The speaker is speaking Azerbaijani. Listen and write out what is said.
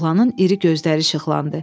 Oğlanın iri gözləri işıqlandı.